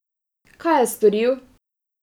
Kaj je storil?